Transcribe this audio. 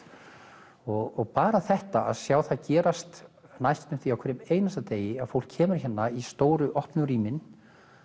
og bara þetta að sjá það gerast næstum því á hverjum einasta degi að fólk kemur hérna í stóru opnu rýmin